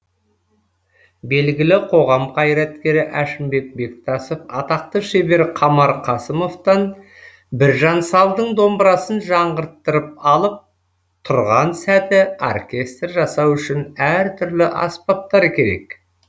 белгілі қоғам қайраткері әшімбек бектасов атақты шебер қамар қасымовтан біржан салдың домбырасын жаңғырттырып алып тұрған сәті оркестр жасау үшін әртүрлі аспаптар керек